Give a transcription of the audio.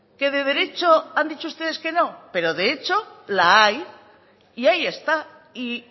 que de derecho han dicho ustedes que no pero de hecho la hay y ahí está y